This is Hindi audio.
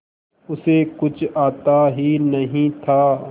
उसे कुछ आता ही नहीं था